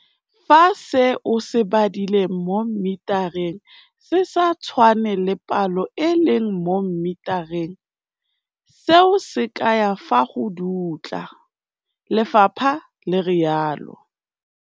"Fa se o se badileng mo mmetareng se sa tshwane le palo e e leng mo mmetareng, seo se kaya fa go dutla," lefapha le rialo.